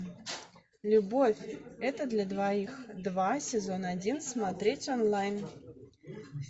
любовь это для двоих два сезон один смотреть онлайн